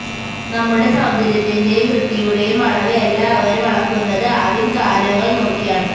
നമ്മുടെ സൌന്ദര്യത്തിന്റെയും വൃത്തിയുടെയും അളവ് എല്ലാവരും അളക്കുന്നത് ആദ്യം കാലുകൾ നോക്കിയാണ്